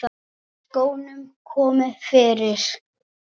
Skónum komið fyrir?